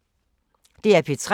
DR P3